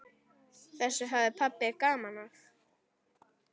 Þessu hafði pabbi gaman af.